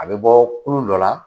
A bɛ bɔ kulu dɔ la